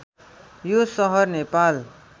यो सहर नेपाल